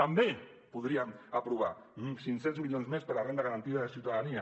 també podríem aprovar cinc cents milions més per a la renda garantida de ciutadania